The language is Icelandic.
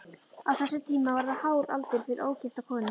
Á þessum tíma var það hár aldur fyrir ógifta konu.